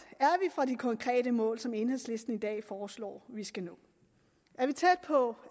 fra de konkrete mål som enhedslisten i dag foreslår vi skal nå er vi tæt på